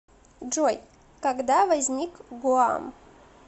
джой когда возник гуам